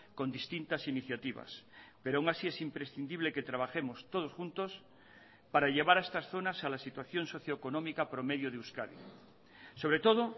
con distintas iniciativas pero aun así es imprescindible que trabajemos todos juntos para llevar a estas zonas a la situación socio económica promedio de euskadi sobre todo